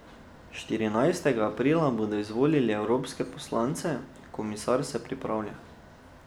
Štirinajstega aprila bodo izvolili evropske poslance, komisar se pripravlja.